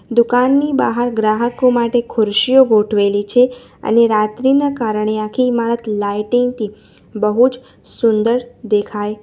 દુકાનની બહાર ગ્રાહકો માટે ખુરશીઓ ગોઠવેલી છે અને રાત્રિના કારણે આખી ઈમારત લાઇટિંગ થી બહુ જ સુંદર દેખાય --